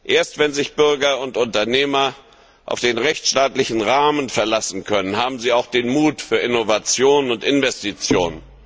Erst wenn sich Bürger und Unternehmer auf den rechtsstaatlichen Rahmen verlassen können, haben sie auch den Mut zu Innovation und Investition.